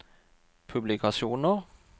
publikasjoner